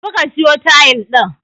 Tafi ka siyo tayil din